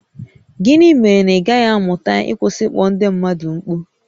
Gịnị mere na ị gaghị amụta ịkwụsị ịkpọ ndị mmadụ mkpu?